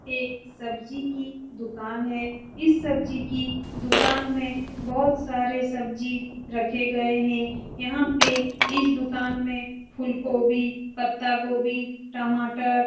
एक सब्जी की दुकान है। इस सब्जी की दुकान में बहुत सारे सब्जी रखे गए हैं। यहाँ पे इस दुकान में फुलगोभी पत्तागोभी टमाटर --